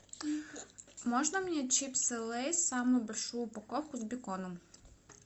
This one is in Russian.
можно мне чипсы лейс самую большую упаковку с беконом